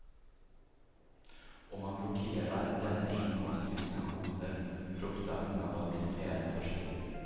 Om man blockerar denna inkomst genom sanktioner fruktar många vad militären tar sig till.